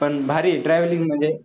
पण भारी आहे travelling म्हणजे